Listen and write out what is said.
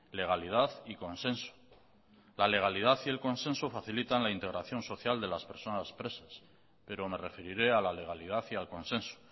legalidad y consenso la legalidad y el consenso facilitan la integración social de las personas presas pero me referiré a la legalidad y al consenso